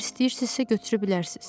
Əgər istəyirsizsə götürə bilərsiz.